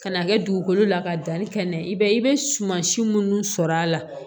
Ka n'a kɛ dugukolo la ka danni kɛ n'a ye i bɛ i bɛ suman si minnu sɔrɔ a la